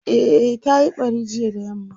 e ta Yi ɓari jiya da yamma